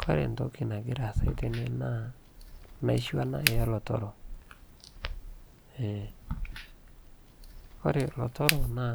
kore ntokii nagiraa aasai tenee naa naishoo anaa ee lotoroo, kore lotoroo naa